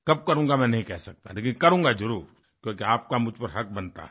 कब करूँगा मैं नहीं कह सकता लेकिन करूँगा जरुर क्योंकि आपका मुझ पर हक़ बनता है